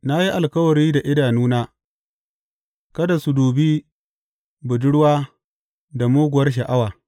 Na yi alkawari da idanuna kada su dubi budurwa da muguwar sha’awa.